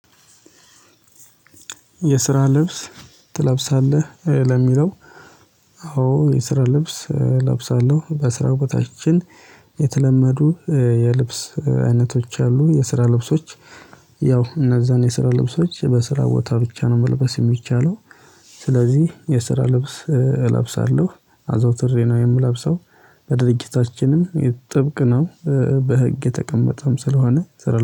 የስራ ልብስ ትለብሳለህ ለሚለው? አዎ የስራ ልብስ እለብሳለሁ በስራው ቦታችን የተለመዱ የልብስ አይነቶች አሉ የስራ ልብሶች ያው እነዛን የስራ ልብሶች በስራ ቦታ ብቻ ነው መልበስ የሚቻለው። ስለዚህ የስራ ልብስ እለብሳለሁ አዘውትሬ ነው የምለብሰው በድርጅታችንም ጥብቅ ነው በህግ የተቀመጠም ስለሆነ።